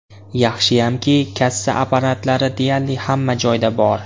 Yaxshiyamki, kassa apparatlari deyarli hamma joyda bor.